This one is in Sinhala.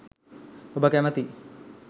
ඔබ කැමැති